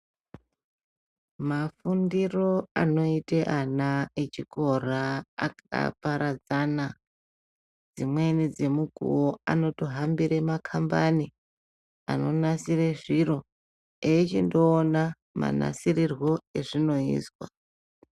Mafundiro anoita ana echikora aparadzana, dzimweni dzemukuwo anotohambira makambani ano nasira zviri eyichindoona manasirirwe azvinoitwa